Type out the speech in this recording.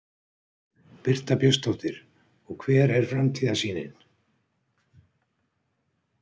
Birta Björnsdóttir: Og hver er framtíðarsýnin?